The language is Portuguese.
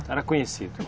Era conhecido.